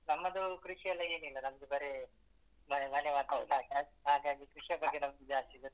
ನಮ್ಮದು ಕೃಷಿ ಎಲ್ಲ ಏನ್ ಇಲ್ಲ ನಮ್ದು ಬರೇ ಮನೆ ಹಾಗಾಗಿ ಕೃಷಿಯ ಬಗ್ಗೆ ನಂಗೆ ಜಾಸ್ತಿ ಗೊತ್ತಿಲ್ಲ.